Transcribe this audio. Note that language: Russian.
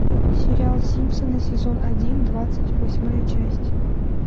сериал симпсоны сезон один двадцать восьмая часть